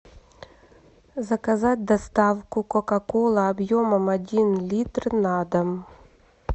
заказать доставку кока кола объемом один литр на дом